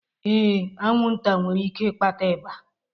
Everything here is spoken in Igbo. Ee, anwụnta nwere ike ịkpata ịba